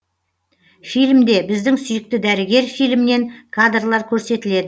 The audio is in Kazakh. фильмде біздің сүйікті дәрігер фильмінен кадрлар көрсетіледі